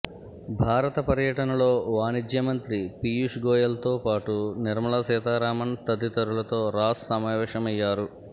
భారత పర్యటనలో వాణిజ్య మంత్రి పీయూష్ గోయల్తో పాటు నిర్మలా సీతారామన్ తదితరులతో రాస్ సమావేశమయ్యారు